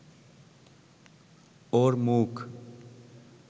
ওর মুখ